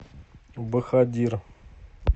бахадир